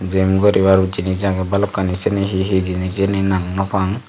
Jim goribar jinich agey balokkani siyeni hi hi jinich nang nopang.